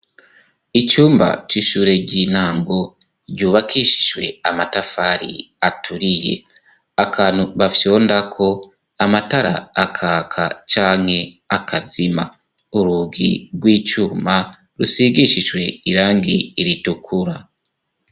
Icumba c'ishure rinango ryubakishishwe amatafari aturiye akantu bafyondako amatara akaka canke akazima urugi rw'icuma rusigishishwe irangi iritukura.